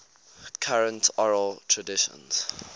current oral traditions